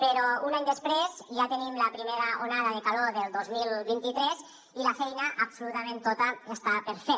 però un any després ja tenim la primera onada de calor del dos mil vint tres i la feina absolutament tota està per fer